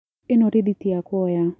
Ĩno rĩthĩti yakwa oya.